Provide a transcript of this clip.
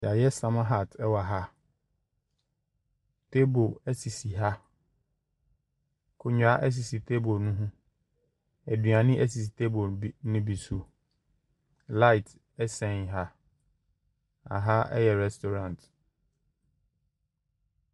Yɛayɛ summer hat ɛwɔ ha. Tabele sisi ha, Nkonnwa sisi table ho. Nnuane sisi tabe bi no bi so. Light ɛsɛn ha, aha yɛ rɛstorant.